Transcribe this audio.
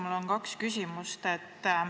Mul on kaks küsimust.